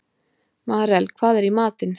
Marel, hvað er í matinn?